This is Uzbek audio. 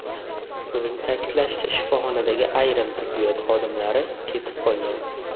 Uning ta’kidlashicha, shifoxonadagi ayrim tibbiyot xodimlari ketib qolgan.